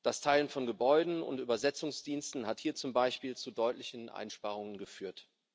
Das Teilen von Gebäuden und Übersetzungsdiensten hat hier zum Beispiel zu deutlichen Einsparungen geführt.